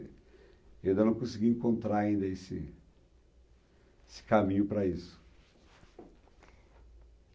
Ainda não consegui encontrar ainda esse esse caminho para isso.